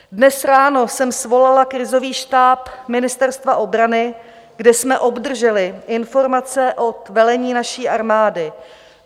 Dnes ráno jsem svolala krizový štáb Ministerstva obrany, kde jsme obdrželi informace od velení naší armády.